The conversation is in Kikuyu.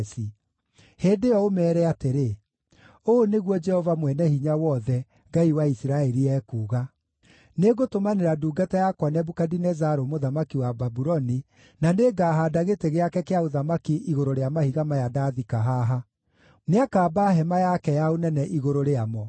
Hĩndĩ ĩyo ũmeere atĩrĩ, ‘Ũũ nĩguo Jehova Mwene-Hinya-Wothe, Ngai wa Isiraeli, ekuuga: Nĩngũtũmanĩra ndungata yakwa Nebukadinezaru mũthamaki wa Babuloni, na nĩngahaanda gĩtĩ gĩake kĩa ũthamaki igũrũ rĩa mahiga maya ndathika haha; nĩakamba hema yake ya ũnene igũrũ rĩamo.